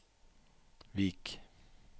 Vik